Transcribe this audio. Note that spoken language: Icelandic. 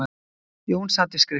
Jón sat við skriftir.